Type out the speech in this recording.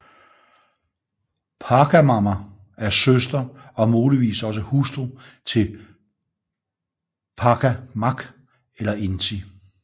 Pachamama er søster og muligvis også hustru til Pachacamac eller Inti